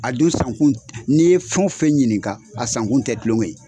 A dun san kun n'i ye fɛn o fɛn ɲininka, a san kun tɛ tulɔŋɛ ye.